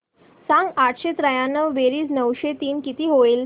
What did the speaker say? सांग आठशे त्र्याण्णव बेरीज नऊशे तीन किती होईल